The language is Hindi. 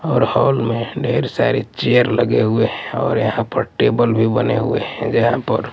और हॉल में ढेर सारी चेयर लगे हुए है और यहां पर टेबल भी बने हुए हैं जहां पर--